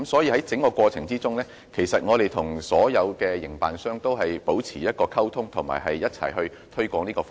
在整個過程中，我們與所有營辦商都一直保持溝通及一起推廣這項服務。